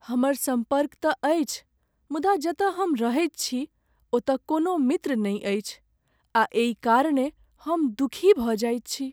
हमर सम्पर्क तँ अछि मुदा जतय हम रहैत छी ओतय कोनो मित्र नहि अछि आ एहि कारणेँ हम दुःखी भऽ जाइत छी।